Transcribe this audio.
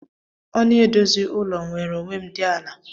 Ọnụ edozi ụlọ nwere onwem di ala.